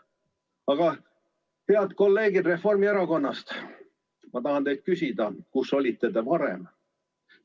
Aga, head kolleegid Reformierakonnast, ma tahan teilt küsida, kus te varem olite.